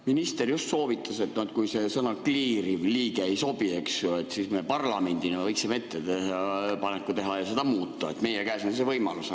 Minister just soovitas, et kui see "kliiriv liige" ei sobi, eks ju, siis me parlamendina võiksime ettepaneku teha ja seda muuta, meie käes on see võimalus.